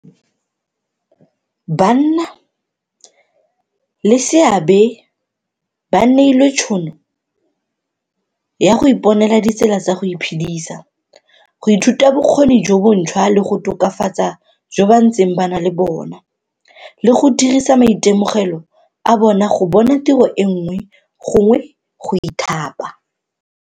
Banna leseabe ba neilwe tšhono ya go iponela ditsela tsa go iphedisa, go ithuta bokgoni jo bontšhwa le go tokafatsa jo ba ntseng ba na le bona, le go dirisa maitemogelo a bona go bona tiro e nngwe gongwe go ithapa.